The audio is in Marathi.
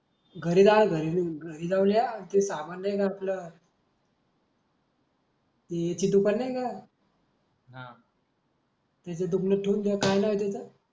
घरी जा घरी